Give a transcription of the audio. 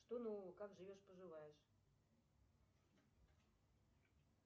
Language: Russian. что нового как живешь поживаешь